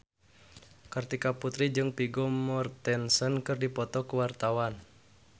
Kartika Putri jeung Vigo Mortensen keur dipoto ku wartawan